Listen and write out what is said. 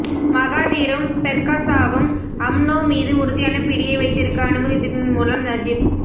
மகாதீரும் பெர்க்காசாவும் அம்னோ மீது உறுதியான பிடியை வைத்திருக்க அனுமதித்ததின் மூலம் நஜிப்